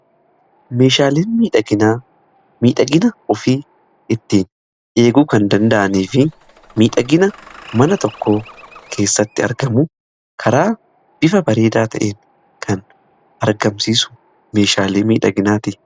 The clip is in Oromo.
Meeshaaleen miidhagina ofii ittiin eeguu kan danda'anii fi miidhagina mana tokko keessatti argamu karaa bifa bareedaa ta'een kan argamsiisu meeshaalee miidhaginaati.